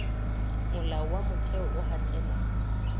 molao wa motheo o hatella